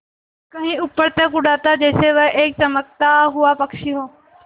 कहीं ऊपर तक उड़ाता जैसे वह एक चमकता हुआ पक्षी हो